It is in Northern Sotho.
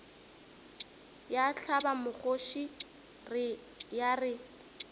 ya hlaba mokgoši ya re